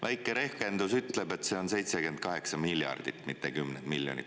Väike rehkendus ütleb, et see on 78 miljardit, mitte kümneid miljoneid.